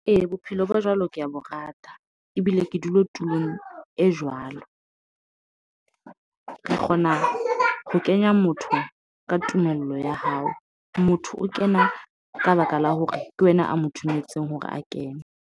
Ee, bophelo ba jwalo ko bo rata. Ebile ke dula tulong e jwalo. Re kgona ho kenya motho ka tumello ya hao. Motho o kena ka baka la hore ke wena a mo dumetseng hore a kene.